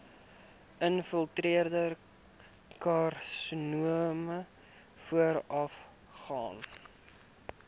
infiltrerende karsinoom voorafgaan